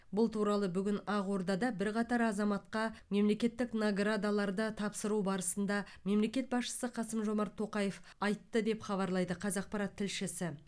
бұл туралы бүгін ақордада бірқатар азаматқа мемлекеттік наградаларды тапсыру барысында мемлекет басшысы қасым жомарт тоқаев айтты деп хабарлайды қазақпарат тілшісі